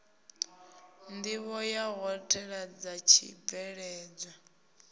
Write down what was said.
nḓivho ya ṱhoḓea dza tshibveledzwa